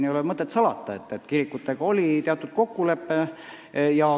Ei ole mõtet salata, et kirikutega oli teatud kokkulepe.